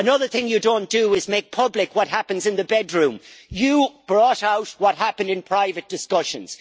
Another thing you don't do is make public what happens in the bedroom! You brought out what happened in private discussions.